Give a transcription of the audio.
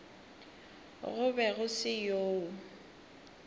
go be go se yoo